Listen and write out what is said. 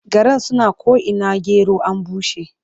Garan suna ko'ina gero an bushe.